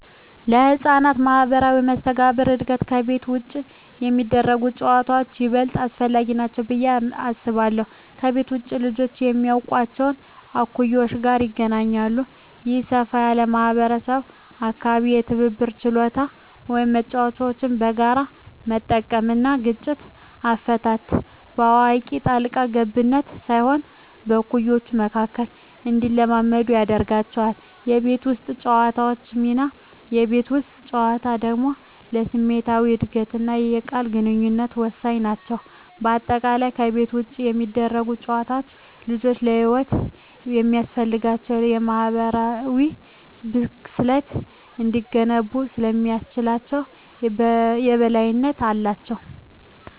ለሕፃናት ማኅበራዊ መስተጋብር እድገት ከቤት ውጭ የሚደረጉ ጨዋታዎች ይበልጥ አስፈላጊ ናቸው ብዬ አስባለሁ። ከቤት ውጭ ልጆች ከማያውቋቸው እኩዮች ጋር ይገናኛሉ። ይህ ሰፋ ያለ ማኅበራዊ አካባቢ የትብብር ችሎታን (መጫወቻዎችን በጋራ መጠቀም) እና ግጭት አፈታትን (በአዋቂ ጣልቃ ገብነት ሳይሆን በእኩዮች መካከል) እንዲለማመዱ ያደርጋቸዋል። የቤት ውስጥ ጨዋታዎች ሚና: የቤት ውስጥ ጨዋታዎች ደግሞ ለስሜታዊ እድገትና የቃል ግንኙነት ወሳኝ ናቸው። በአጠቃላይ፣ ከቤት ውጭ የሚደረጉ ጨዋታዎች ልጆች ለሕይወት የሚያስፈልጋቸውን የማኅበራዊ ብስለት እንዲገነቡ ስለሚያስችላቸው የበላይነት አላቸው።